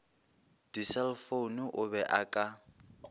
diselefoune o be a ka